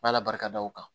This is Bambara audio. N'ala barika da o kan